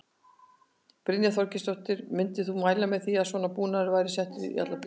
Brynja Þorgeirsdóttir: Myndir þú mæla með því að svona búnaður væri settur í alla bíla?